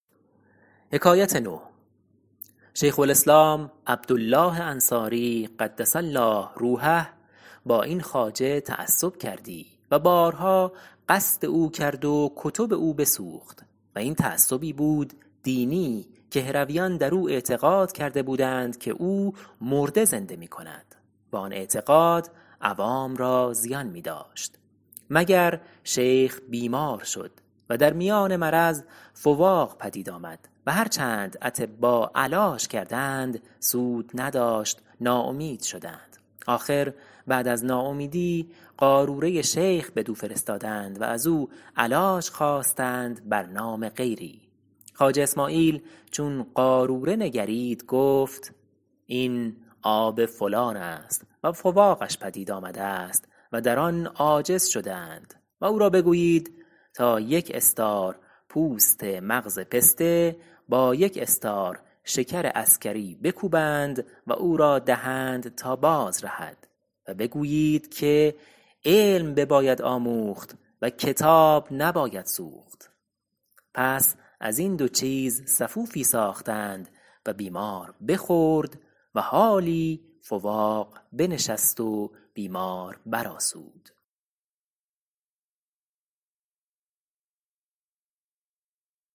شیخ الاسلام عبدالله انصاری قدس الله روحه با این خواجه تعصب کردی و بارها قصد او کرد و کتب او بسوخت و این تعصبی بود دینی که هرویان در او اعتقاد کرده بودند که او مرده زنده می کند و آن اعتقاد عوام را زیان می داشت مگر شیخ بیمار شد و در میان مرض فواق پدید آمد و هر چند اطبا علاج کردند سود نداشت ناامید شدند آخر بعد از ناامیدی قاروره شیخ بدو فرستادند و از او علاج خواستند بر نام غیری خواجه اسماعیل چون قاروره نگرید گفت این آب فلان است و فواقش پدید آمده است و در آن عاجز شده اند و او را بگویید تا یک استار پوست مغز پسته با یک استار شکر عسکری بکوبند و او را دهند تا باز رهد و بگویید که علم بباید آموخت و کتاب نباید سوخت پس از این دو چیز سفوفی ساختند و بیمار بخورد و حالی فواق بنشست و بیمار بر آسود